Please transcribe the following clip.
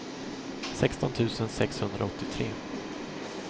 sexton tusen sexhundraåttiotre